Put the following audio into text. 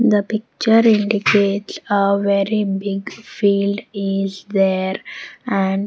The picture indicates a very big field is there and--